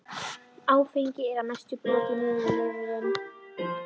Áfengið er að mestu brotið niður í lifrinni.